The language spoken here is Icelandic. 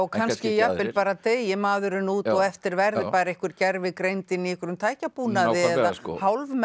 kannski jafnvel bara deyi maðurinn út og eftir verði bara einhver gervigreind inn í einhverjum tækjabúnaði eða